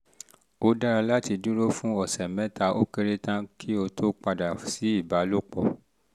ó dára láti dúró fún ọ̀sẹ̀ mẹ́ta ó kéré tán kó o tó padà sí ìbálòpọ̀